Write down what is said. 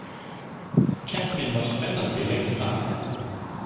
Keppnin var spennandi lengst af